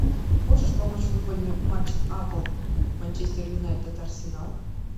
можешь помочь футбольный матч апл манчестер юнайтед арсенал